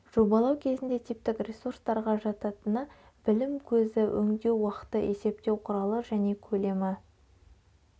жобалау кезінде типтік ресурстарға жататыны білім көзі өңдеу уақыты есептеу құралы және көлемі